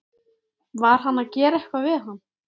Var hann að gera eitthvað við hann?